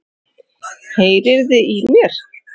Heyriði í mér?